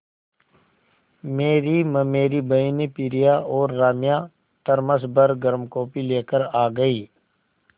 मेरी ममेरी बहिनें प्रिया और राम्या थरमस भर गर्म कॉफ़ी लेकर आ गईं